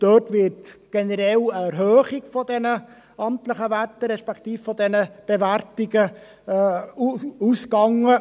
Dort wird von einer generellen Erhöhung der amtlichen Werte, respektive der Bewertungen ausgegangen.